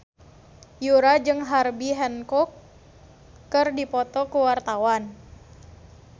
Yura jeung Herbie Hancock keur dipoto ku wartawan